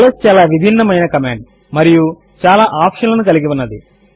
ల్స్ చాలా విభిన్నము అయిన కమాండ్ మరియు చాలా ఆప్షన్ లను కలిగి ఉన్నది